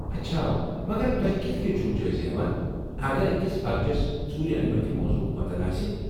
اچھا! مگر توہہِ كِتھہٕ كٕنۍ چھِو جٲیزٕ ہیوان اگر اكِس پرچس ژوٗرِ انِمٕتہِ موضوہُك متن آسہِ ۔